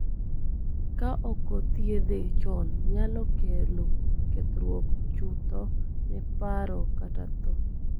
Ka okothiedhe chon nyalo kelo kethruok chutho ne paro kata tho